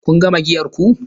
Kun gama giyar ku?